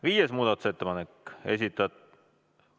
Viies muudatusettepanek, esitatud ...